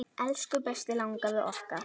Elsku besti langafi okkar.